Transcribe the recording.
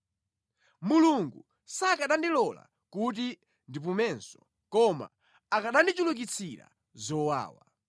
Mulungu sakanandilola kuti ndipumenso koma akanandichulukitsira zowawa.